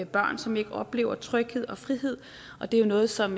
børn som ikke oplever tryghed og frihed og det er noget som